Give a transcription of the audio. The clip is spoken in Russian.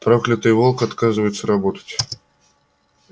проклятый волк отказывается работать